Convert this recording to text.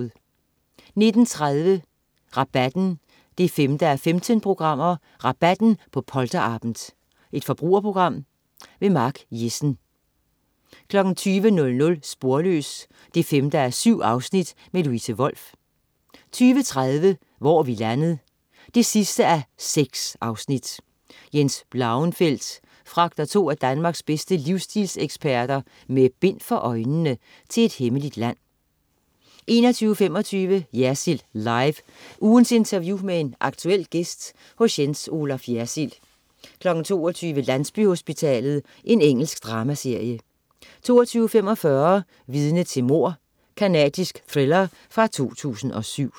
19.30 Rabatten 5:15. "Rabatten" på polterabend. Forbrugerprogram. Mark Jessen 20.00 Sporløs 5:7. Louise Wolff 20.30 Hvor er vi landet? 6:6. Jens Blauenfeldt fragter to af Danmarks bedste livsstilseksperter "med bind for øjnene" til et hemmeligt land 21.25 Jersild Live. Ugens interview med en aktuel gæst hos Jens Olaf Jersild 22.00 Landsbyhospitalet. Engelsk dramaserie 22.45 Vidne til mord. Canadisk thriller fra 2007